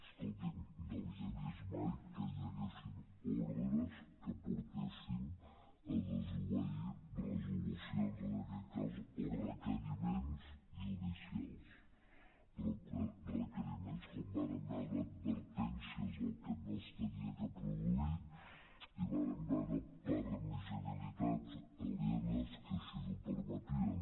escolti’m no havia vist mai que hi haguessin ordres que portessin a desobeir resolucions en aquest cas o requeriments judicials requeriments com vàrem veure advertències del que no s’havia de produir i vàrem veure permissibilitats alienes que així ho permetien